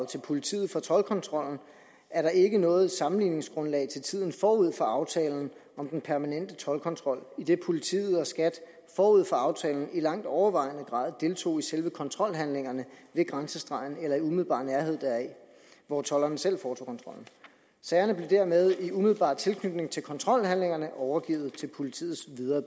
til politiet fra toldkontrollen er der ikke noget sammenligningsgrundlag til tiden forud for aftalen om den permanente toldkontrol idet politiet og skat forud for aftalen i langt overvejende grad deltog i selve kontrolhandlingerne ved grænsestregen eller i umiddelbar nærhed deraf hvor tolderne selv foretog kontrollen sagerne blev dermed i umiddelbar tilknytning til kontrolhandlingerne overgivet til politiets videre